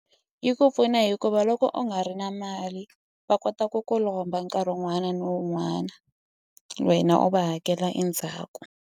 Yi ku pfuna hikuva loko u nga ri na mali va kota ku ku lomba nkarhi wun'wana ni wun'wani wena u va hakela endzhaku.